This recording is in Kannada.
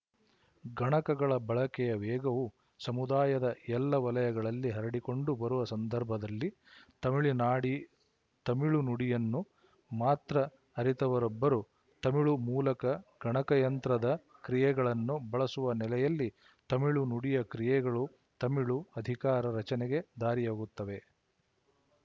ಗಣಕಗಳ ಬಳಕೆಯ ವೇಗವು ಸಮುದಾಯದ ಎಲ್ಲ ವಲಯಗಳಲ್ಲಿ ಹರಡಿಕೊಂಡು ಬರುವ ಸಂದರ್ಭದಲ್ಲಿ ತಮಿಳು ನಾಡಿ ತಮಿಳು ನುಡಿಯನ್ನು ಮಾತ್ರ ಅರಿತವರೊಬ್ಬರು ತಮಿಳು ಮೂಲಕ ಗಣಕಯಂತ್ರದ ಕ್ರಿಯೆಗಳನ್ನು ಬಳಸುವ ನೆಲೆಯಲ್ಲಿ ತಮಿಳು ನುಡಿಯ ಕ್ರಿಯೆಗಳು ತಮಿಳು ಅಧಿಕಾರ ರಚನೆಗೆ ದಾರಿಯಾಗುತ್ತವೆ